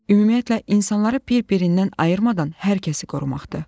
Ümumiyyətlə, insanları bir-birindən ayırmadan hər kəsi qorumaqdır.